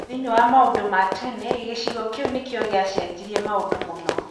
Thĩinĩ wa maundũ ma tene, Gĩchigo kĩu nĩkio gĩacenjirie maũndũ mũno.